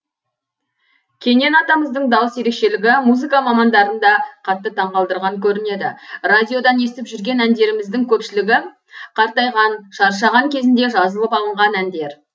кенен атамыздың дауыс ерекшелігі музыка мамандарын да қатты таңқалдырған көрінеді радиодан естіп жүрген әндеріміздің көпшілігі қартайған шаршаған кезінде жазылып алынған әндер